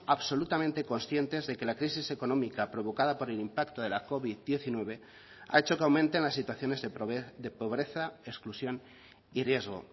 absolutamente conscientes de que la crisis económica provocada por el impacto de la covid diecinueve ha hecho que aumenten las situaciones de pobreza exclusión y riesgo